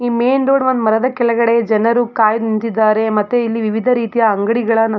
ಈ main road ಒಂದ್ ಮರದ ಕೆಳಗಡೆ ಜನರು ಖಾಲಿ ನಿಂತಿದ್ದಾರೆ ಮತ್ತೆ ಇಲಿ ವಿವಿಧ ರೀತಿಯ ಅಂಗಡಿಗಳ --